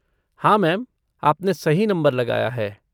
हाँ मैम, आपने सही नंबर लगाया है।